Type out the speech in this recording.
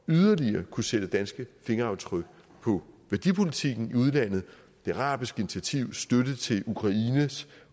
yderligere at kunne sætte danske fingeraftryk på værdipolitikken i udlandet det arabiske initiativ støtte til ukraines